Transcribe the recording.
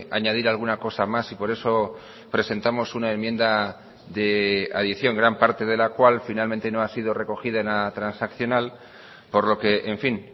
añadir alguna cosa más y por eso presentamos una enmienda de adición gran parte de la cual finalmente no ha sido recogida en la transaccional por lo que en fin